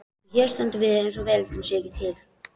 Og hér stöndum við eins og veröldin sé ekki til.